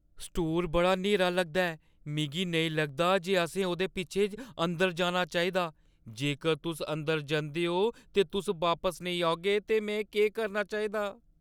Store बड़ा न्हेरा लगदा ऐ। मिगी नेईं लगदा जे असें ओह्दे पिच्छें अंदर जाना चाहिदा। जेकर तुस अंदर जंदे ओ ते तुस बापस नेईं औगे तां में केह् करना चाहिदा?